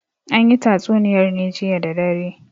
An yi tatsuniyar ne jiya da dare.